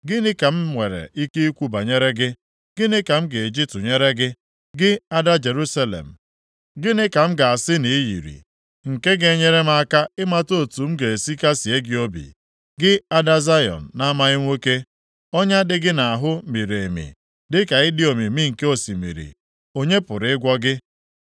Gịnị ka m nwere ike ikwu banyere gị? Gịnị ka m ga-eji tụnyere gị, gị ada Jerusalem? Gịnị ka m ga-asị na i yiri, nke ga-enyere m aka ịmata otu m ga-esi kasịe gị obi, gị ada Zayọn na-amaghị nwoke? Ọnya dị gị nʼahụ miri emi, dịka ịdị omimi nke osimiri. Onye pụrụ ịgwọ gị?